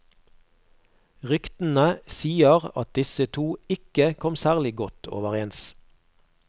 Ryktene sier at disse to ikke kom særlig godt overens.